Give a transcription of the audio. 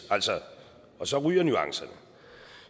og så ryger nuancerne